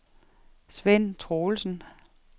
Sven Troelsen